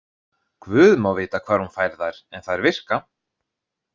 Guð má vita hvar hún fær þær, en þær virka.